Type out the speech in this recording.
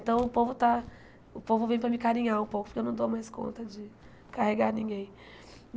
Então, o povo está... O povo vem para me carinhar um pouco, porque eu não dou mais conta de carregar ninguém.